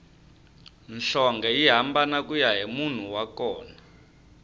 nhlonge yi hambana kuya hi munhu wa kona